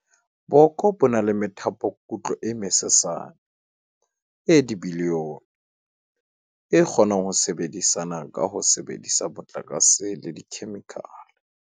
"Boko bo na le methapokutlo e mesesane, e dibilione, e kgonang ho sebedisana ka ho sebedisa motlakase le dikhemikhale."